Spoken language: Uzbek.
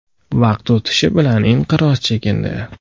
Vaqt o‘tishi bilan inqiroz chekindi.